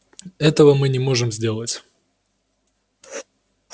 этого-то мы и не можем сделать